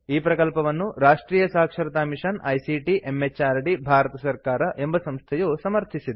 ಈ ಪ್ರಕಲ್ಪವನ್ನು ರಾಷ್ಟ್ರಿಯ ಸಾಕ್ಷರತಾ ಮಿಷನ್ ಐಸಿಟಿ ಎಂಎಚಆರ್ಡಿ ಭಾರತ ಸರ್ಕಾರ ಎಂಬ ಸಂಸ್ಥೆಯು ಸಮರ್ಥಿಸಿದೆ